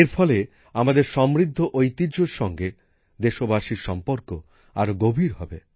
এর ফলে আমাদের সমৃদ্ধ ঐতিহ্যর সঙ্গে দেশবাসীর সম্পর্ক আরো গভীর হবে